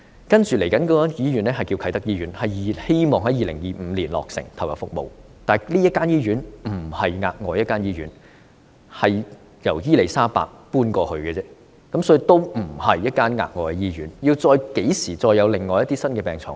接着落成的醫院是啟德醫院，希望能夠在2025年投入服務，但這間醫院不是額外新建醫院，而是由伊利沙伯醫院搬遷過去的，所以並不是一間額外新建的醫院。